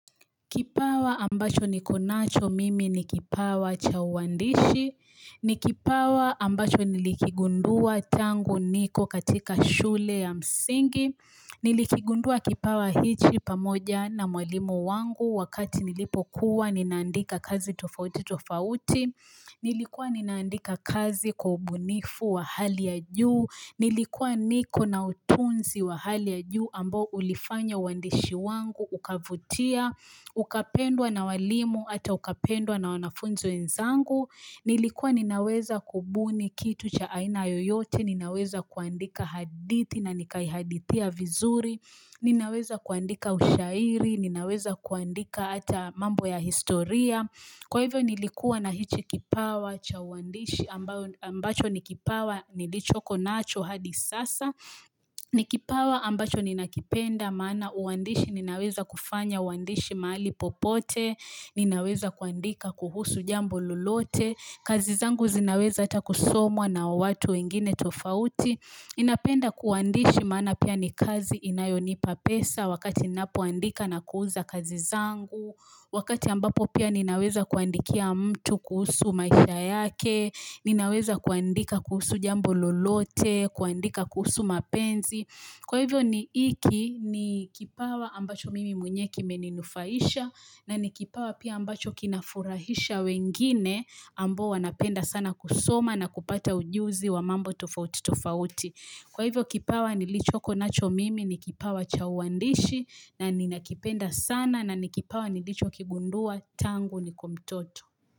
Kipawa ambacho niko nacho mimi ni kipawa cha uandishi, ni kipawa ambacho nilikigundua tangu niko katika shule ya msingi, nilikigundua kipawa hichi pamoja na mwalimu wangu wakati nilipokuwa ninaandika kazi tofautitofauti, nilikua ninaandika kazi kwa ubunifu wa hali ya juu, nilikua niko na utunzi wa hali ya juu ambao ulifanya uandishi wangu ukavutia, Ukapendwa na walimu hata ukapendwa na wanafunzi wenzangu Nilikuwa ninaweza kubuni kitu cha aina yoyote Ninaweza kuandika hadithi na nikaihadithia vizuri Ninaweza kuandika ushairi Ninaweza kuandika ata mambo ya historia Kwa hivyo nilikuwa na hichi kipawa cha uandishi ambacho nikipawa nilichoko nacho hadi sasa ni kipawa ambacho ninakipenda maana uandishi ninaweza kufanya uandishi mahali popote ninaweza kuandika kuhusu jambo lolote kazi zangu zinaweza hata kusomwa na watu wengine tofauti ninapenda kuandishi maana pia ni kazi inayonipa pesa wakati ninapoandika na kuuza kazi zangu wakati ambapo pia ninaweza kuandikia mtu kuhusu maisha yake ninaweza kuandika kuhusu jambo lolote kuandika kuhusu mapenzi Kwa hivyo ni iki ni kipawa ambacho mimi mwenyewe kimeninufaisha na ni kipawa pia ambacho kinafurahisha wengine ambao wanapenda sana kusoma na kupata ujuzi wa mambo tofautitofauti. Kwa hivyo kipawa nilichoko nacho mimi ni kipawa cha uandishi na ninakipenda sana na ni kipawa nilichokigundua tangu nikue mtoto.